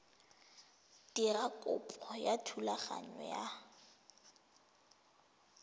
dira kopo ya thulaganyo ya